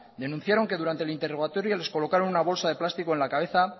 denunciaron que durante el interrogatorio les colocaron una bolsa de plástico en la cabeza